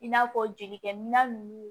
I n'a fɔ jelikɛminɛn ninnu